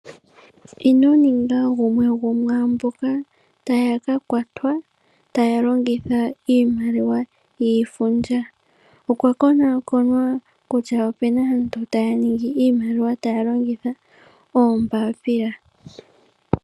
Inoninga gumwe gomwaamboka taya ka kwatwa taya longitha iimaliwa yiifundja. Okwa konaakonwa kutya opuna aantu taya ningi iimaliwa, taya longitha oombaapila.